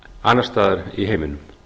annars staðar i heiminum